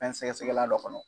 Fɛn sɛgɛsɛgɛla dɔ kɔnɔ